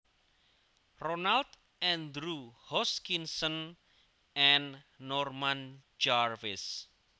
Ronald Andrew Hoskinson and Norman Jarvis